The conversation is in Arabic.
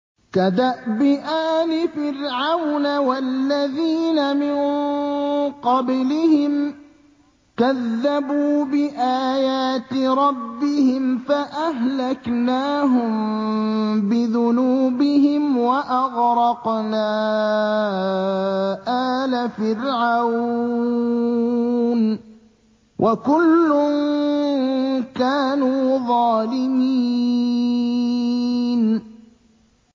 كَدَأْبِ آلِ فِرْعَوْنَ ۙ وَالَّذِينَ مِن قَبْلِهِمْ ۚ كَذَّبُوا بِآيَاتِ رَبِّهِمْ فَأَهْلَكْنَاهُم بِذُنُوبِهِمْ وَأَغْرَقْنَا آلَ فِرْعَوْنَ ۚ وَكُلٌّ كَانُوا ظَالِمِينَ